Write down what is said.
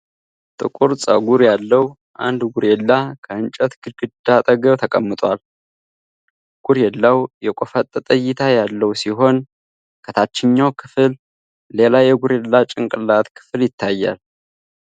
ጥቁር ጸጉር ያለው አንድ ጎሪላ ከእንጨት ግድግዳ አጠገብ ተቀምጧል። ጎሪላው የቆፈጠጠ እይታ ያለው ሲሆን፥ ከታችኛው ክፍል ሌላ የጎሪላ ጭንቅላት ክፍል ይታያል።